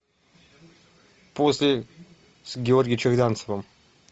после с георгием черданцевым